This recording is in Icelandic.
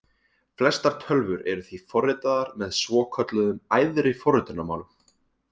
Flestar tölvur eru því forritaðar með svokölluðum æðri forritunarmálum.